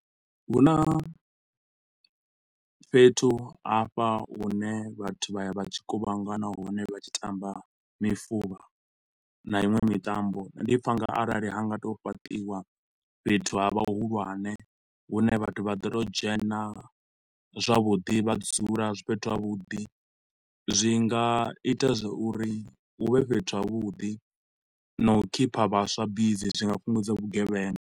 Hu na fhethu hafha hune vhathu vha ya vha tshi kuvhangana hone vha tshi tamba mifuvha na iṅwe mitambo ndi pfa u nga arali ha nga tou fhaṱiwa fhethu ha vha hu hulwane hune vhathu vha ḓo to u dzhena zwavhuḓi vha dzula fhethu havhuḓi, zwi nga ita zwa uri hu vhe fhethu havhuḓi na u khipha vhaswa bisi zwi nga fhungudza vhugevhenga.